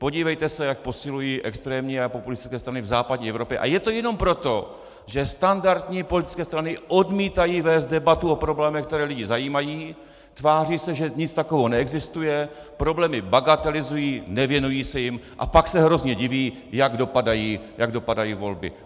Podívejte se, jak posilují extrémní a populistické strany v západní Evropě, a je to jenom proto, že standardní politické strany odmítají vést debatu o problémech, které lidi zajímají, tváří se, že nic takového neexistuje, problémy bagatelizují, nevěnují se jim, a pak se hrozně diví, jak dopadají volby.